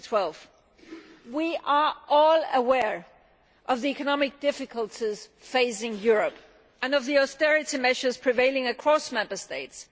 2012. We are all aware of the economic difficulties facing Europe and of the austerity measures prevailing across Member States.